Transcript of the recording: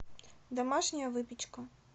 домашняя выпечка